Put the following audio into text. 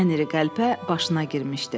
Ən iri qəlpə başına girmişdi.